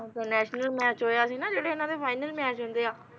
ਜਦੋਂ international match ਹੋਇਆ ਸੀ ਨਾ ਜਿਹੜੇ ਇਨ੍ਹਾਂ ਦੇ ਫਾਈਨਲ ਮੈਚ ਹੁੰਦੇ ਆ